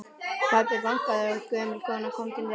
Pabbi bankaði og gömul kona kom til dyra.